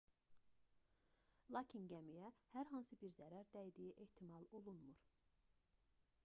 lakin gəmiyə hər hansı bir zərər dəydiyi ehtimal olunmur